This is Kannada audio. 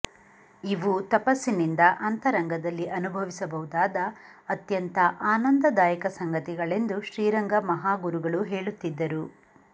ಇವು ತಪಸ್ಸಿನಿಂದ ಅಂತರಂಗದಲ್ಲಿ ಅನುಭವಿಸಬಹುದಾದ ಅತ್ಯಂತ ಆನಂದದಾಯಕ ಸಂಗತಿಗಳೆಂದು ಶ್ರೀರಂಗ ಮಹಾಗುರುಗಳು ಹೇಳುತ್ತಿದ್ದರು